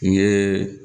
N ye